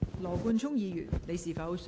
羅冠聰議員，你是否想再次發言？